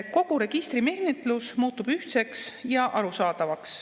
Kogu registrimenetlus muutub ühtseks ja arusaadavaks.